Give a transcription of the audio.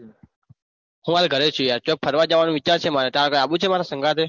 હું હાલ ગરે છીએ ચોક ફરવા જવાનો વિચાર છે માર તારે આબુ છે મારા સંગાથે?